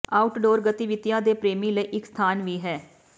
outdoor ਗਤੀਵਿਧੀਆਂ ਦੇ ਪ੍ਰੇਮੀ ਲਈ ਇੱਕ ਸਥਾਨ ਵੀ ਹੈ